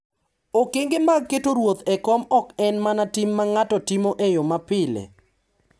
Okenge mag keto ruoth e kom ok en mana tim ma ng’ato timo e yo mapile;